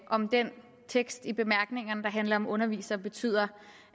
om den tekst i bemærkningerne der handler om undervisere betyder